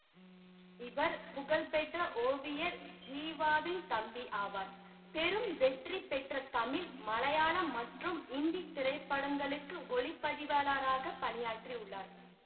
இவர் புகழ்பெற்ற ஓவியர் ஜீவாவின் தம்பி ஆவார் பெரும் வெற்றி பெற்ற தமிழ் மலையாளம் மற்றும் இந்தி திரைப்படங்களுக்கு ஒளிப்பதிவாளராகப் பணியாற்றியுள்ளார்